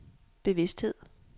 bevidsthed